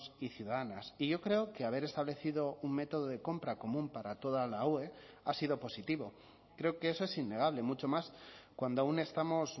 y ciudadanas y yo creo que haber establecido un método de compra común para toda la ue ha sido positivo creo que eso es innegable mucho más cuando aún estamos